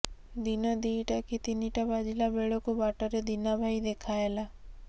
ଦିନ ଦିଇଟା କି ତିନିଟା ବାଜିଲା ବେଳକୁ ବାଟରେ ଦୀନା ଭାଇ ଦେଖା ହେଲା